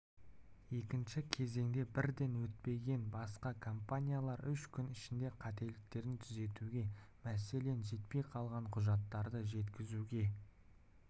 екінші кезеңге бірден өтпеген басқа компаниялар үш күн ішінде қателіктерін түзетуге мәселен жетпей қалған құжаттарды жеткізуге